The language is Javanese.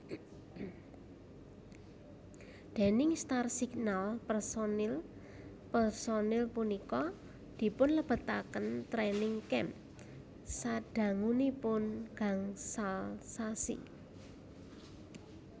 Déning Starsignal pesonil personil punika dipunlebetaken training camp sadangunipun gansal sasi